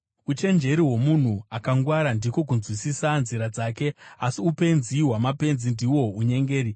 Uchenjeri hwomunhu akangwara ndiko kunzwisisa nzira dzake, asi upenzi hwamapenzi ndihwo unyengeri.